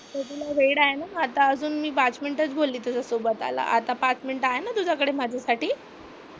आता तुला वेळ आहे ना? आता अजून मी पाच मिनिट च बोलली तुझ्यासोबत आता पाच मिनिट आहे ना तुझ्याकडे माझ्यासाठी?